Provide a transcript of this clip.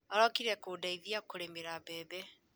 Arokire kũndeithia kũrĩmĩra mbembe